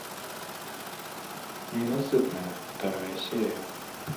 ненасытная вторая серия